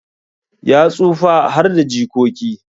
Ya tsufa harda jikoki